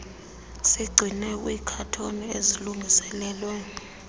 zigcinwe kwiikhathoni ezilungiselelwe